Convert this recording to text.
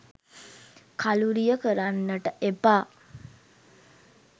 කලුරිය කරන්නට එපා.